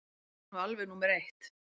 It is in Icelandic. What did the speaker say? Það er nú alveg númer eitt.